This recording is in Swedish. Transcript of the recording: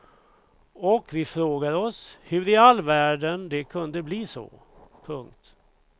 Och vi frågar oss hur i all världen det kunde bli så. punkt